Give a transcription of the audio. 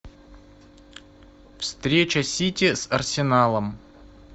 встреча сити с арсеналом